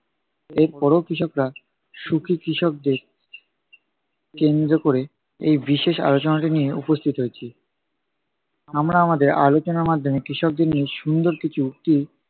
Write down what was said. এর পরেও কৃষকরা, সুখী কৃষকদের কেন্দ্র ক'রে এই বিশেষ আলোচনাটি নিয়ে উপস্থিত হয়েছি আমরা আমাদের আলোচনার মাধ্যমে কৃষকদের নিয়ে সুন্দর কিছু উক্তি